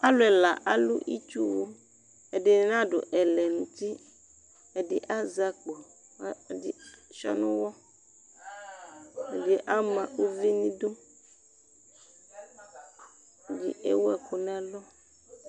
Alʋ ɛla alʋ itsuwʋ Ɛdini n'adʋ ɛlɛn'uti, ɛdi azɛ akpɔ kʋ ɛdi dua n'ʋwɔ Ɛdi ama uvi n'idu, ɛdi ewu ɛkʋ n'ɛlʋ